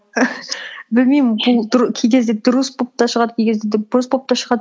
білмеймін бұл кей кезде дұрыс болып та шығады кей кезде де бұрыс болып та шығады